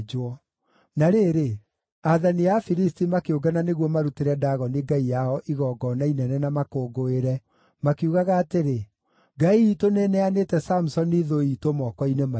Na rĩrĩ, aathani a Afilisti makĩũngana nĩguo marutĩre Dagoni ngai yao igongona inene na makũngũĩre, makiugaga atĩrĩ, “Ngai iitũ nĩĩneanĩte Samusoni thũ iitũ, moko-inĩ maitũ.”